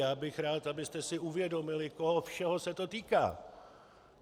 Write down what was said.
Já bych rád, abyste si uvědomili, koho všeho se to týká.